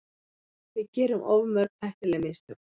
Við gerum of mörg tæknileg mistök.